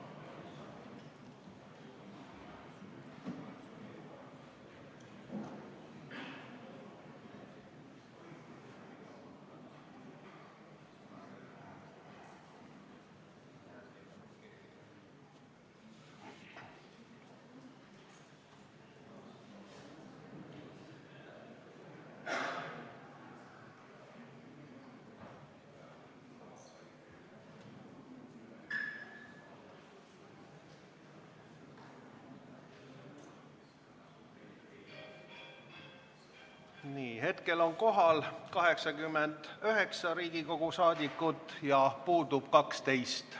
Kohaloleku kontroll Hetkel on kohal 89 Riigikogu liiget, puudub 12.